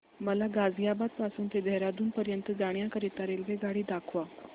मला गाझियाबाद पासून ते देहराडून पर्यंत जाण्या करीता रेल्वेगाडी दाखवा